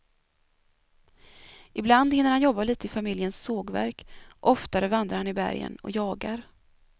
Ibland hinner han jobba lite i familjens sågverk, oftare vandrar han i bergen och jagar.